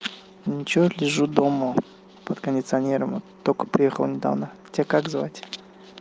ничего лежу дома под кондиционером вот только приехал недавно тебя как звать